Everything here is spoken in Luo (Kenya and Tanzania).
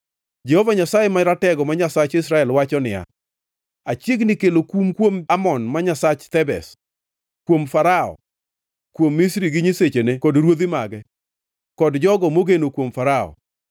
Jehova Nyasaye Maratego, ma Nyasach Israel, wacho niya, “Achiegni kelo kum kuom Amon ma nyasach Thebes, kuom Farao, kuom Misri gi nyisechene kod ruodhi mage, kod jogo mogeno kuom Farao.